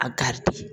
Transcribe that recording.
A garidi